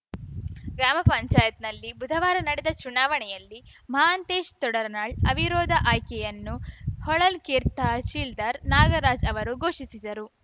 ಗ್ರಾಮ ಪಂಚಾಯತ್ ನಲ್ಲಿ ಬುಧವಾರ ನಡೆದ ಚುನಾವಣೆಯಲ್ಲಿ ಮಹಾಂತೇಶ್‌ ತೊಡರನಾಳ್‌ ಅವಿರೋಧ ಆಯ್ಕೆಯನ್ನು ಹೊಳಲ್ಕೆರೆ ತಹಸೀಲ್ದಾರ್‌ ನಾಗರಾಜ್‌ ಅವರು ಘೋಷಿಸಿದರು